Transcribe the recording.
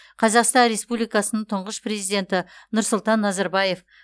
қазақстан республикасының тұңғыш президенті нұрсұлтан назарбаев